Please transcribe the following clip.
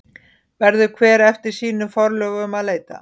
Verður hver eftir sínum forlögum að leita.